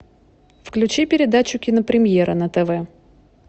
включи передачу кинопремьера на тв